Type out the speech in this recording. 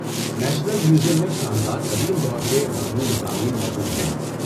National museum میں شاندار قدیم دور کے متنوع مضامین موجود ہیں۔